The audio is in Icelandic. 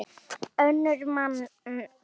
önnur manntöl